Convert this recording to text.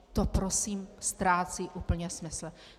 To prosím ztrácí úplně smysl.